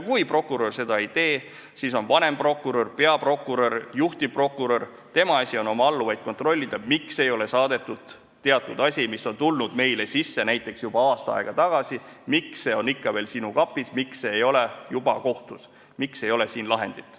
Kui prokurör seda ei tee, siis on vanemprokuröri, peaprokuröri, juhtivprokuröri asi oma alluvaid kontrollida, miks teatud asi, mis on tulnud sisse juba näiteks aasta aega tagasi, on ikka veel prokuröri kapis, miks see ei ole juba kohtus, miks ei ole juba lahendit.